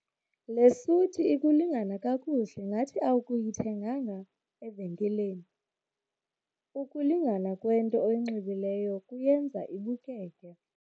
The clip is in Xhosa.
Le suti ikulingana kakuhle ngathi akuyithenganga evenkileni. ukulingana kwento oyinxibileyo kuyenza ibukeke